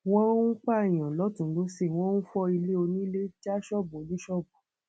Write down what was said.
wọn ń pààyàn lọtùnún lósì wọn ń fọ ilé onílẹ já ṣọọbù oníṣọọbù